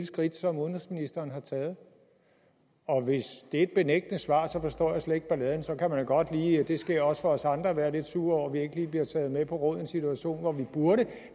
skridt som udenrigsministeren har taget og hvis det er et benægtende svar forstår jeg slet ikke balladen så kan man godt lige det sker også for os andre være lidt sur over ikke lige bliver taget med på råd i en situation hvor man burde